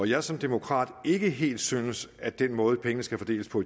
jeg som demokrat ikke helt synes at den måde pengene skal fordeles på